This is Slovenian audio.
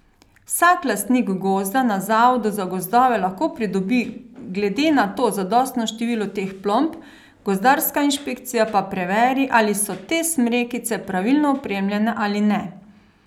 Vsak lastnik gozda na zavodu za gozdove lahko pridobi glede na to zadostno število teh plomb, gozdarska inšpekcija pa preveri, ali so te smrekice pravilno opremljene ali ne.